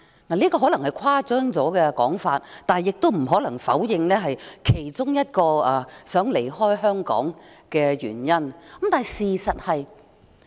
這說法可能有些誇張，但不可否認是令人想離開香港的其中一個原因。